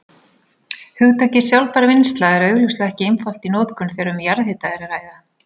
Hugtakið sjálfbær vinnsla er augljóslega ekki einfalt í notkun þegar um jarðhita er að ræða.